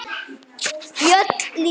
Fjöll lýsast.